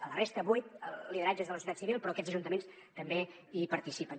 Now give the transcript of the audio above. a la resta vuit lideratges de la societat civil però aquests ajuntaments també hi participen